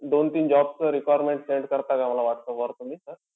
दोन-तीन job चं requirement send करता का मला whatsapp वर तुम्ही sir?